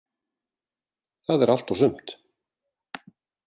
Það er allt og sumt.